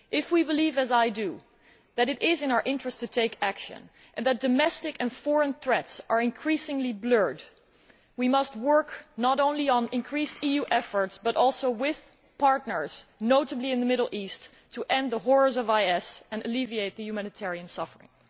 If we believe, as I do, that it is in our interest to take action and that domestic and foreign threats are increasingly blurred, we must work not only on increased EU efforts but also with partners, notably in the Middle East, to end the horrors of Islamic State and alleviate the human suffering.